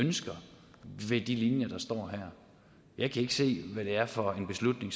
ønsker med de linjer der står her jeg kan ikke se hvad det er for en beslutning